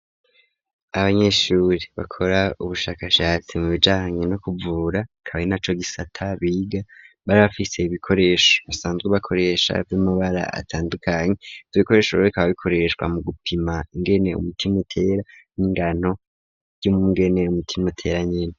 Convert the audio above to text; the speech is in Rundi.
Abanyeshuri bakora ubushakashatsi mu bijanye no kuvura akaba ari naco gisata biga, bari bafise ibikoresho basanzwe bakoresha vy'amabara atandukanye, ivyo bikoresho bikaba bikoreshwa mu gupima ingene umutima utera n'ingano ry'ingene umutima utera nyene.